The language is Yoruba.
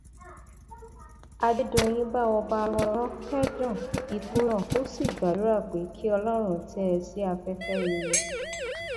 adédọyìn bá ọba aromọlọrán kẹdùn ikú náà ó sì gbàdúrà pé kí ọlọrun tẹ ẹ sí afẹfẹ rere